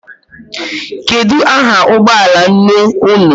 Kedu aha ụgbọala nne unu?